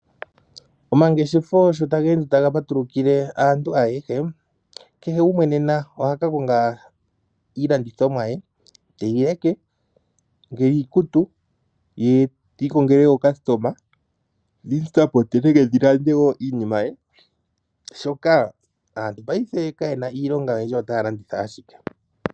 Omangeshefo sho taga patulukile aantu ayeshe keshe gumwe nena ohaka konga iilandithomwa ye teyi leke nge iikutu, ti ikongele ookasitoma dhilande iinima ye shoka aantu kayena we iilonga otaya landitha ashike.